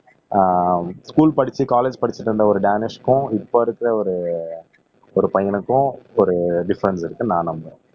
ஆஹ் school படிச்சு college படிச்சுட்டு இருந்த ஒரு தியானேஷ்க்கும் இப்ப இருக்கிற ஒரு ஒரு பையனுக்கும் ஒரு டிஃபரென்ஸ் இருக்குன்னு நான் நம்புறேன்